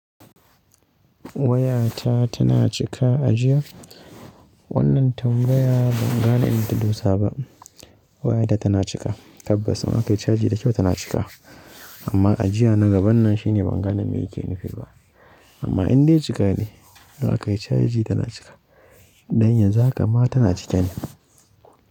Wayata tana cika a jiya. Wannan tambaya ban gane inda ta dosa ba. Wayata tana cika, tabbas ma a kai caji da kyau tana cika. Amma a jiya na gaban nan shine ban gane me yake nufi ba. Amma indai cika ne, da an kai caji tana cika. Dan yanzu haka ma tana cike ne.